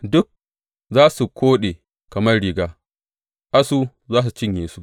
Duk za su koɗe kamar riga; asu za su cinye su.